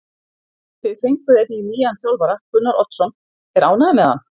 Þið fenguð einnig nýjan þjálfara, Gunnar Oddsson, er ánægja með hann?